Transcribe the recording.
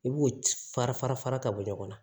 I b'o fara fara fara ka bɔ ɲɔgɔn na